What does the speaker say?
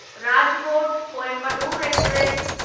Rajkot Coimbatore express